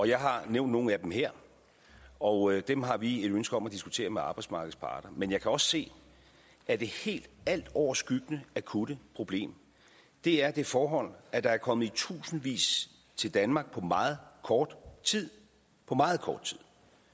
jeg har nævnt nogle af dem her og dem har vi et ønske om at diskutere med arbejdsmarkedets parter men jeg kan også se at det helt altoverskyggende akutte problem er det forhold at der er kommet i tusindvis til danmark på meget kort tid på meget kort tid